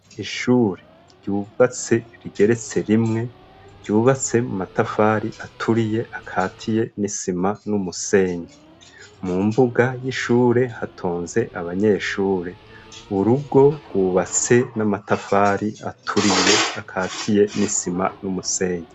Ishure ryubatse rigeretse rimwe, ryubatse mu matafari aturiye akatiye n'isima n'umusenyi. Mu mbuga y'ishure hatonze abanyeshure. Urugo rwubatse n'amatafari aturiye akatiye n'isima n'umusenyi.